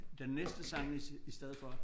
Den næste sang i i stedet for